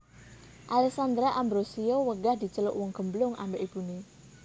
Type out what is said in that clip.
Alessandra Ambrossio wegah diceluk wong gemblung ambek ibune